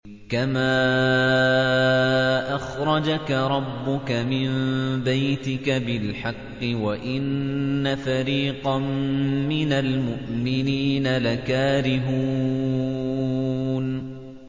كَمَا أَخْرَجَكَ رَبُّكَ مِن بَيْتِكَ بِالْحَقِّ وَإِنَّ فَرِيقًا مِّنَ الْمُؤْمِنِينَ لَكَارِهُونَ